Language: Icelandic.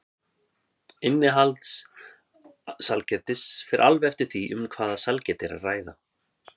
Innihald sælgætis fer alveg eftir því um hvaða sælgæti er að ræða.